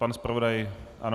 Pan zpravodaj ano.